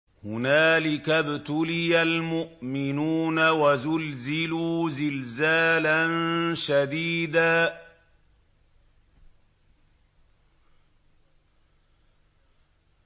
هُنَالِكَ ابْتُلِيَ الْمُؤْمِنُونَ وَزُلْزِلُوا زِلْزَالًا شَدِيدًا